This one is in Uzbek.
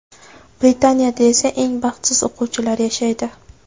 Britaniyada esa eng baxtsiz o‘quvchilar yashaydi.